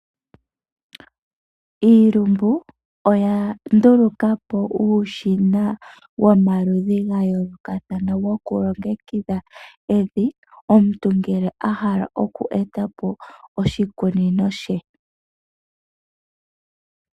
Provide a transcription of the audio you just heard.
Iilumbu oya ndulukapo uushina womaludhi gayolokathana goku longekidha evi, omuntu ngele ahala oku etapo oshikunino she.